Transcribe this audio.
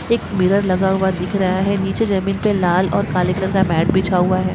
एक मिरर लगा हुआ दिख रहा है नीचे जमीन पर लाल और काले कलर का मैट बिछा हुआ है।